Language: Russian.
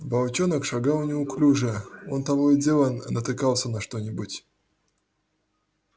волчонок шагал неуклюже он то и дело натыкался на что нибудь